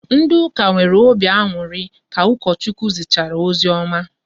Ndị ụka nwere obi aṅụrị ka Ukochukwu zichara ozioma